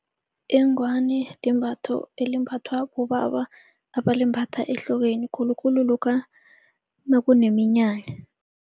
Ingwani limbatho elimbathwa bobaba abalimbatha ehlokweni khulukhulu lokha nakuneminyanya.